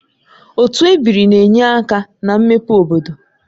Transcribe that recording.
Otu ebiri na-enye aka na mmepe obodo